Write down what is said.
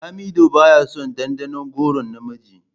Lamido baya son dandanon goron na miji.